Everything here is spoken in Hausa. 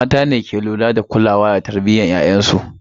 Mata ne ke lura da kulawa da tarbiyyar ‘ya’yansu.